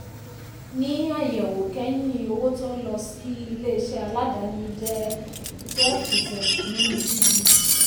ní àyẹ̀wò kẹ́yìn owó tó ń lọ sí ilé-iṣẹ́ aládáàni jẹ́ twelve percent nínú gdp.